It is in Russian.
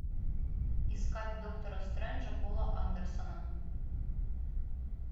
искать доктора стренджа пола андерсона